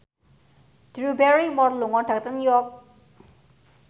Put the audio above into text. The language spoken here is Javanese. Drew Barrymore lunga dhateng York